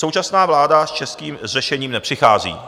Současná vláda s českým řešením nepřichází.